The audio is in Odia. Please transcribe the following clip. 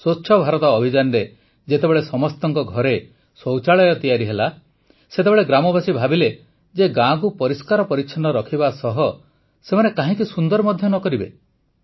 ସ୍ୱଚ୍ଛ ଭାରତ ଅଭିଯାନରେ ଯେତେବେଳେ ସମସ୍ତଙ୍କ ଘରେ ଶୌଚାଳୟ ତିଆରି ହେଲା ସେତେବେଳେ ଗ୍ରାମବାସୀ ଭାବିଲେ ଯେ ଗାଁକୁ ପରିଷ୍କାର ପରିଚ୍ଛନ୍ନ ରଖିବା ସହ ସେମାନେ କାହିଁକି ସୁନ୍ଦର ମଧ୍ୟ କରିବେ ନାହିଁ